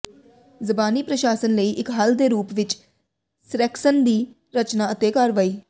ਜ਼ਬਾਨੀ ਪ੍ਰਸ਼ਾਸਨ ਲਈ ਇੱਕ ਹੱਲ ਦੇ ਰੂਪ ਵਿੱਚ ਸੇਰੈਕਸਨ ਦੀ ਰਚਨਾ ਅਤੇ ਕਾਰਵਾਈ